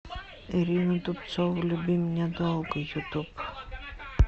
ирина дубцова люби меня долго ютуб